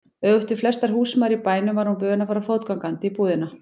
Öfugt við flestar húsmæður í bænum var hún vön að fara fótgangandi í búðina.